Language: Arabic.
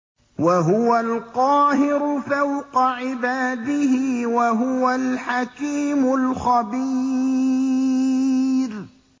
وَهُوَ الْقَاهِرُ فَوْقَ عِبَادِهِ ۚ وَهُوَ الْحَكِيمُ الْخَبِيرُ